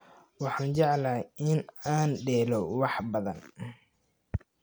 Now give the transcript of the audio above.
Waxaan jeclahay in aan dheelo wax badan